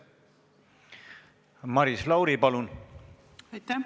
Maris Lauri, palun!